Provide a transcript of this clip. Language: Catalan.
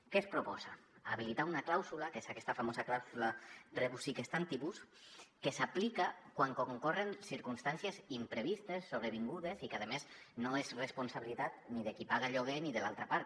què es proposa es proposa habilitar una clàusula que és aquesta famosa clàusula rebus sic stantibus que s’aplica quan concorren circumstàncies imprevistes sobrevingudes i que a més no és responsabilitat ni de qui paga el lloguer ni de l’altra part